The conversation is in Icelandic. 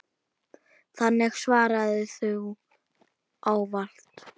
Þannig svaraði þú ávallt.